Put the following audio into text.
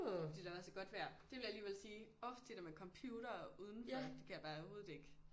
Fordi der var så godt vejr det vil jeg alligevel sige orh det der med computere udenfor det kan jeg bare overhovedet ikke